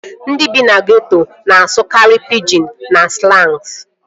Ndị bi na geeto na-asụkarị pijin na slans